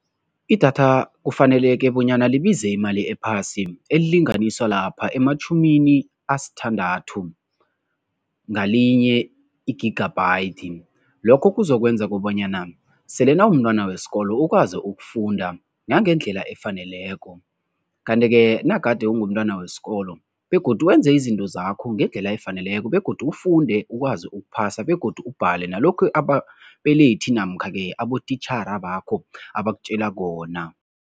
Idatha kufaneleke bonyana libize imali ephasi, elilinganiswa lapha ematjhumini asithandathu ngalinye i-gigabyte. Lokho kuzokwenza kobanyana sele nawumntwana wesikolo ukwazi ukufunda nangendlela efaneleko. Kanti-ke nagade ungumntwana wesikolo begodu wenze izinto zakho ngendlela efaneleko begodu ufunde ukwazi ukuphasa begodu ubhale nalokhu ababelethi namkha-ke abotitjhere bakho abakutjela khona.